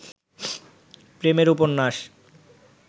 প্রেমের উপন্যাস